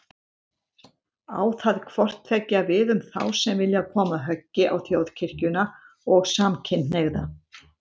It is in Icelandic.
Á það hvort tveggja við um þá sem vilja koma höggi á Þjóðkirkjuna og samkynhneigða.